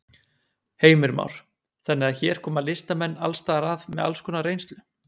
Heimir Már: Þannig að hér koma listamenn alls staðar að með alls konar reynslu?